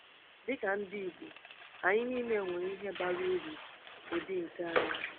Dị ka ndị Igbo, anyị niile nwere ihe bara uru ụdị nke anyị.